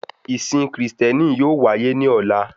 Ìsìn kristiẹni yóò wáyé ní ọ̀la